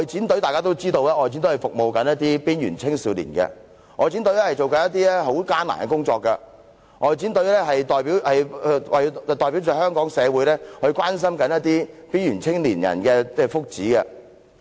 大家都知道，外展隊是服務邊緣青少年的，外展隊所做的是非常艱難的工作，外展隊是代表香港社會關心邊緣青年人的福祉。